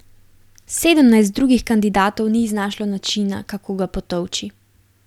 Sedemnajst drugih kandidatov ni iznašlo načina, kako ga potolči.